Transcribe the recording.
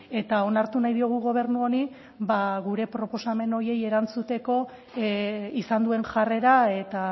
eta onartu nahi diogu gobernu honi ba gure proposamen horiei erantzuteko izan duen jarrera eta